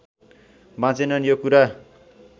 बाँचेनन् यो कुरा